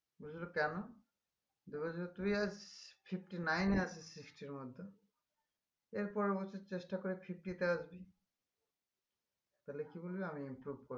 বলেছিলো কেন? এবার যদি তুই আজ fifty-nine এ আছিস sixty এর মধ্যে এর পরের বছর চেষ্টা করে fifty তে আসবি তালে কি